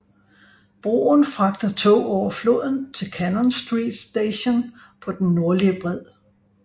Broen fragter tog over floden til Cannon Street station på den nordlige bred